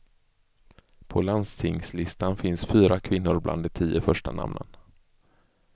På landstingslistan finns fyra kvinnor bland de tio första namnen.